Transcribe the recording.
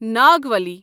Nagavali